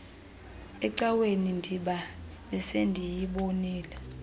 ecaweni ndiba besiyibonile